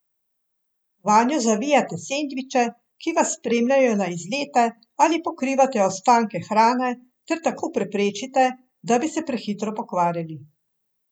Vanjo zavijate sendviče, ki vas spremljajo na izlete ali pokrivate ostanke hrane ter tako preprečite, da bi se prehitro pokvarili.